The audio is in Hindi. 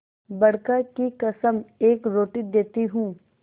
बड़का की कसम एक रोटी देती हूँ